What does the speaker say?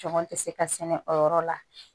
Jɔn tɛ se ka sɛnɛ o yɔrɔ la